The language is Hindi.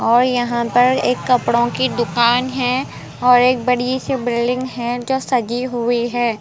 और यहाँ पर एक कपड़ों की दुकान है और एक बड़ी सी बिल्डिंग है जो सजी हुई है।